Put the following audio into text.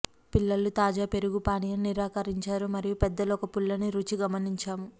పిల్లలు తాజా పెరుగు పానీయం నిరాకరించారు మరియు పెద్దలు ఒక పుల్లని రుచి గమనించాము